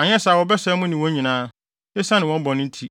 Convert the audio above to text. anyɛ saa a wɔbɛsɛe mo ne wɔn nyinaa, esiane wɔn bɔne nti.”